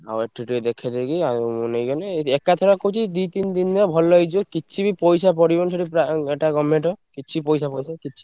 ଆଉ ଏଠି ଟିକେ ଦେଖେଇଦେଇକି ଆଉ ନେଇଗଲେ ଏକାଥରେ କହୁଛି ଦି ତିନି ଦିନିରେ ଭଲ ହେଇଯିବ। କିଛି ବି ପଇସା ପଡିବନି ସେଠି ଏଇଟା government ର କିଛି ପଇସା ଫଇସା କିଛି।